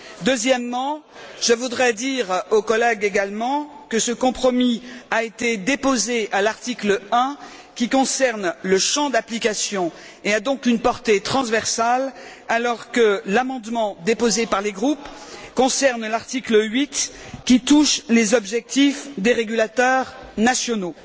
Deuxièmement, je voudrais également dire aux collègues que ce compromis a été déposé à l'article 1, qui concerne le champ d'application, et qu'il a donc une portée transversale, alors que l'amendement déposé par les groupes concerne l'article 8, qui touche les objectifs des régulateurs nationaux.